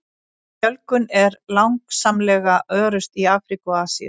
Fjölgun er langsamlega örust í Afríku og Asíu.